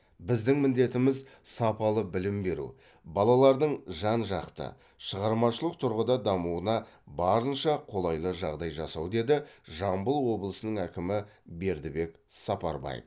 біздің міндетіміз сапалы білім беру балалардың жан жақты шығармашылық тұрғыда дамуына барынша қолайлы жағдай жасау деді жамбыл облысының әкімі бердібек сапарбаев